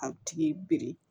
A tigi biri